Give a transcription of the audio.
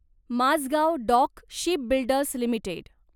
Mazgaon dock shipbuilders limited